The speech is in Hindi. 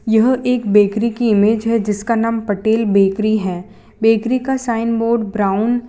यह एक बेकरी की इमेज है जिसका नाम पटेल बेकरी है बेकरी का साइन बोर्ड ब्राउन --